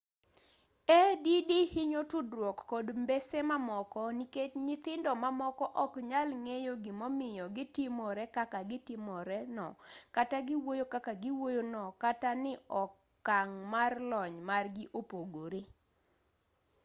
add hinyo tudruok kod mbese mamoko nikech nyithindo mamoko ok nyal ng'eyo gimomiyo gitimore kaka gitimore no kata giwuoyo kaka giwuoyo no kata ni okang' mar lony margi opogore